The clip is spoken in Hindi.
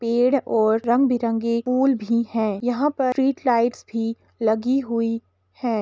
पेड़ और रंग बिरंगे फूल भी है। यहाँ पर स्ट्रीट लाईट्स भी लगी हुई है।